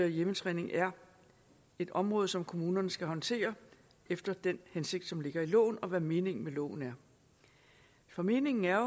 hjemmetræning er et område som kommunerne skal håndtere efter den hensigt som ligger i loven og hvad meningen med loven er for meningen er